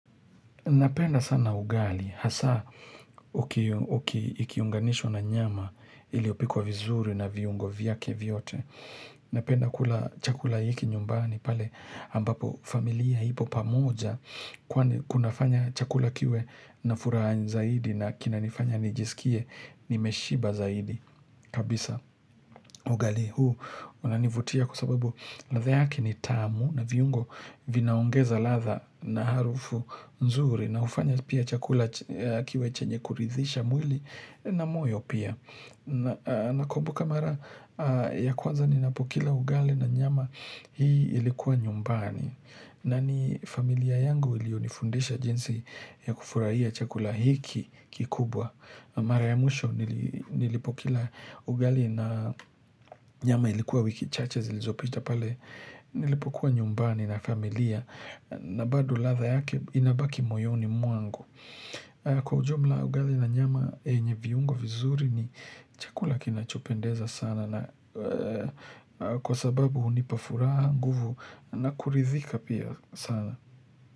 Napenda sana ugali, hasa ukiunganisha na nyama iliyopikwa vizuri na viungo vyake vyote. Napenda kula chakula hiki nyumbani pale ambapo familia ipo pamoja kuna fanya chakula kiwe na furaha zaidi na kina nifanya nijiskie ni meshiba zaidi. Kabisa ugali huu unanivutia kwa sababu ladha yake ni tamu na viungo vinaongeza ladha na harufu nzuri na hufanya pia chakula kiwe chenye kuridhisha mwili na moyo pia. Na kumbuka mara ya kwaza ninapokila ugali na nyama hii ilikuwa nyumbani. Na ni familia yangu iliyonifundisha jinsi ya kufurahia chakula hiki kikubwa. Mara ya mwisho nilipokila ugali na nyama ilikuwa wiki chache zilizopita pale. Nilipokuwa nyumbani na familia. Na bado ladha yake inabaki moyoni mwangu. Kwa ujumla ugali na nyama yenye viungo vizuri ni chakula kinachopendeza sana na kwa sababu hunipa furaha nguvu na kuridhika pia sana.